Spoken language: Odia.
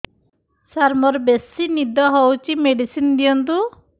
ସାର ମୋରୋ ବେସି ନିଦ ହଉଚି ମେଡିସିନ ଦିଅନ୍ତୁ